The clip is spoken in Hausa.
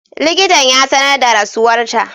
Likitan ya sanar da rasuwarta.